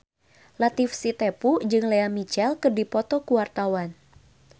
Latief Sitepu jeung Lea Michele keur dipoto ku wartawan